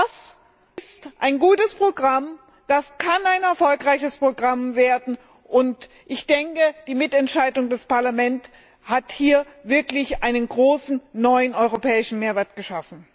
Das ist ein gutes Programm, das kann ein erfolgreiches Programm werden und ich denke, die Mitentscheidung des Parlaments hat hier wirklich einen großen neuen europäischen Mehrwert geschaffen!